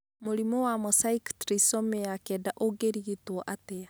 Mũrimũ wa mosaic trisomy ya 9 ũngĩrigituo atĩa?